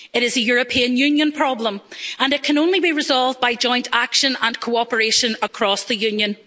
it is a European Union problem, and it can only be resolved by joint action and cooperation across the Union.